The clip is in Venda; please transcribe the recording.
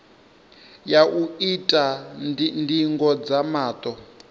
ya u ita ndingo dza maṱo